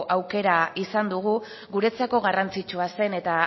aukera izan dugu guretzako garrantzitsua zen eta